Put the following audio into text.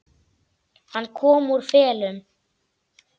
Hann kom úr felum.